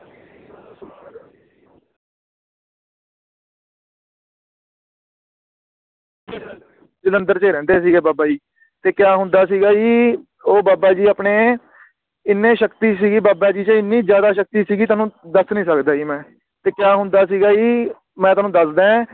ਜਲੰਧਰ ਚ ਰਹਿੰਦੇ ਸੀਗੇ ਬਾਬਾ ਜੀ ਤੇ ਕਿਆ ਹੁੰਦਾ ਸੀਗਾ ਜੀ ਓ ਬਾਬਾ ਜੀ ਆਪਣੇ ਇੰਨੀ ਸ਼ਕਤੀ ਸੀਗੀ ਬਾਬਾ ਜੀ ਚ ਇੰਨੀ ਜ਼ਿਆਦਾ ਸ਼ਕਤੀ ਸੀਗੀ ਤੁਹਾਨੂੰ ਦੱਸ ਨੂੰ ਸਕਦਾ ਜੀ ਮੈਂ ਤੇ ਕਯਾ ਹੁੰਦਾ ਸੀਗਾ ਜੀ ਮੈਂ ਤੁਹਾਨੂੰ ਦੱਸਦਾ ਏ